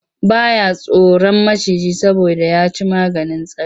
Ba ya tsoron maciji saboda ya ci maganin tsari.